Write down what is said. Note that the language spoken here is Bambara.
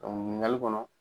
ɲininkali kɔnɔ